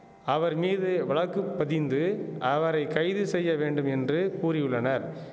அவர் மீது வழக்கு பதிந்து அவரை கைது செய்ய வேண்டும் என்று கூறியுள்ளனர்